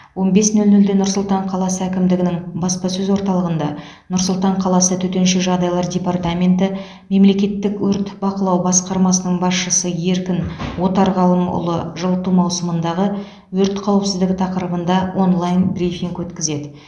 он бес нөл нөлде нұр сұлтан қаласы әкімдігінің баспасөз орталығында нұр сұлтан қаласы төтенше жағдайлар департаменті мемлекеттік өрт бақылау басқармасының басшысы еркін отарғалымұлы жылыту маусымындағы өрт қауіпсіздігі тақырыбында онлайн брифинг өткізеді